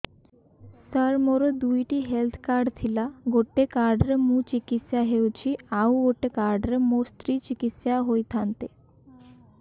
ସାର ମୋର ଦୁଇଟି health card ଥିଲା ଗୋଟେ କାର୍ଡ ରେ ମୁଁ ଚିକିତ୍ସା ହେଉଛି ଆଉ ଗୋଟେ କାର୍ଡ ରେ ମୋ ସ୍ତ୍ରୀ ଚିକିତ୍ସା ହୋଇଥାନ୍ତେ